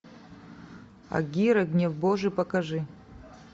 агирре гнев божий покажи